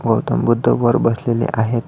गौतम बुद्ध वर बसलेले आहेत.